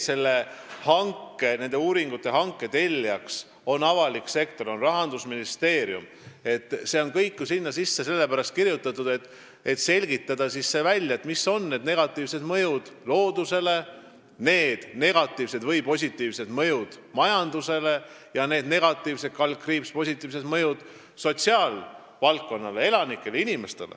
Kogu see protsess – et avalik sektor, Rahandusministeerium on teinud hanke ja tellinud uuringud – on ju selleks, et välja selgitada, millised on mõjud loodusele, millised on negatiivsed/positiivsed mõjud majandusele, sotsiaalvaldkonnale, elanikele ja üldse inimestele.